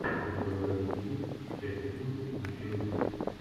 у тебя в загашнике есть часть одиннадцать мужчина в деле